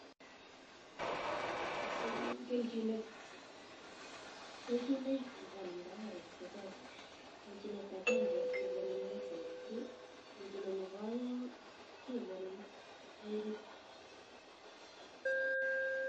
Kelchinoik chepwonundo karit ko chang, kelchinet akenge kekonin leshenit free, kelchinet nebo oeng kekonin toerit.